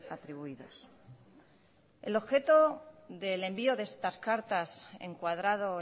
atribuidos el objeto del envío de estas cartas encuadrado